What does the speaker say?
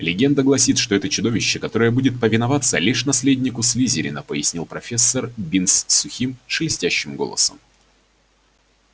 легенда гласит что это чудовище которое будет повиноваться лишь наследнику слизерина пояснил профессор бинс сухим шелестящим голосом